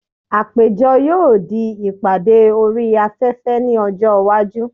Àpéjọ yóò di ìpàdé orí afẹ́fẹ́ ní ọjọ́ iwájú.